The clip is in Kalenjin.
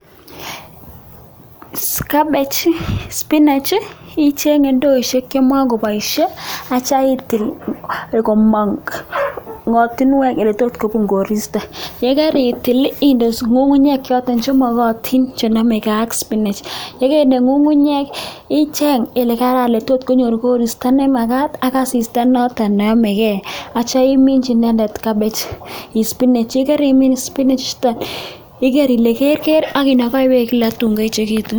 Kabech, spinach, icheng indoishek chemakopoishe atyo itil komang kotinwek ole tot kobun koristo, ye karitil inde ngungunyek choto chemakatin chenomekei ak spinach, ye kainde ngungunyek icheng ole karan ole tot konyor koristo nemakat ak asista noto neyamekei atyo iminchi inendet kabech, ispinach. Ye karimin spinechuton igeer ile keker akinakai beek kila akoi tuun koechekitu.